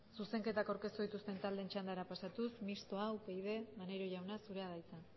zuzenketak aurkeztu dituzten taldeen txandara pasatuz mistoa upyd maneiro jauna zurea da hitza